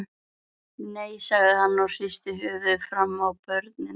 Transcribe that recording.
Nei, sagði hann og hristi höfuðið framan í börnin.